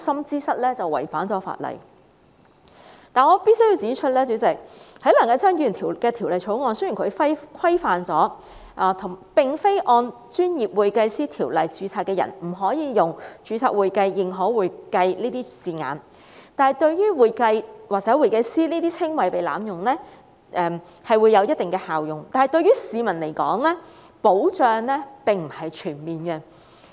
然而，主席，我必須指出，雖然梁繼昌議員的《條例草案》規範了並非按《專業會計師條例》註冊的人不可以使用"註冊會計"、"認可會計"等稱謂，對防止"會計"或"會計師"等稱謂被濫用將會有一定效用，但對於市民的保障並不全面。